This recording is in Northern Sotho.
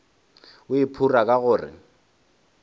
o iphora ka gore o